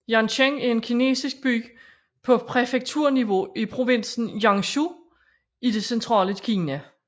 Yancheng er en kinesisk by på præfekturniveau i provinsen Jiangsu i det centrale Kina